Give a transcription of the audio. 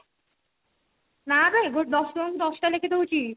ନା ବେ ଦଶ ଟଙ୍କା କୁ ଦଶଟା ଲେଖେ ଦେଉଛି